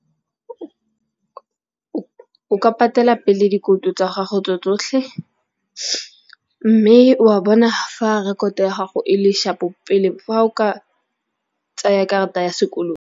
O ka patela pele dikoloto tsa gago tse tsotlhe, mme wa bona fa rekoto ya gago e le shapo pele fa o ka tsaya karata ya sekoloto.